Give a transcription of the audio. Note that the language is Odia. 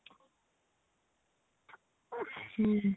ହୁଁ ହୁଁ